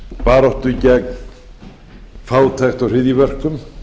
baráttu gegn fátækt og hryðjuverkum